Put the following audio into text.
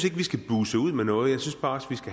at vi skal buse ud med noget jeg synes faktisk